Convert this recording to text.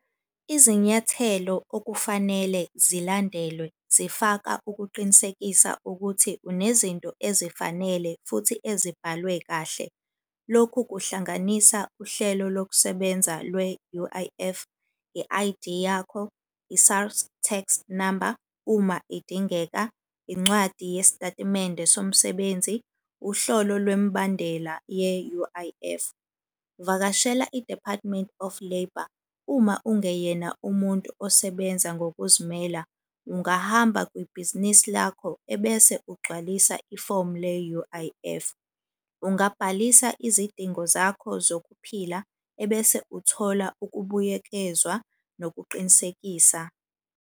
Izinyathelo okufanele zilandelwe zifaka ukuqinisekisa ukuthi unezinto ezifanele futhi ezibhalwe kahle. Lokhu kuhlanganisa uhlelo lokusebenza lwe-U_I_F, i-I_D yakho, i-SARS tax number uma idingeka, incwadi yesitatimende somsebenzi, uhlolo lwemibandela ye-U_I_F. Vakashela i-Department of Labour uma ungeyena umuntu osebenza ngokuzimela, ungahamba kwibhizinisi lakho ebese ugcwalisa i-form le-U_I_F. Ungabhalisa izidingo zakho zokuphila, ebese uthola ukubuyekezwa nokuqinisekisa.